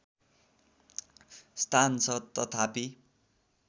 स्थान छ तथापि